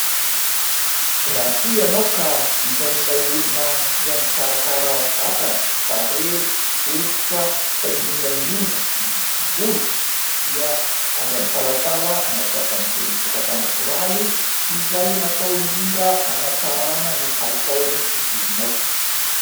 Raha toa ianao ka isan'ilay olona tia mikarakara vatana, tarehy, hoditra fa indrindra indrindra ny volo dia aza misalasala mampiasa an'itony vokatra natoraly izay natao indrindra hanantsarana ny kalitaon'ny volonao.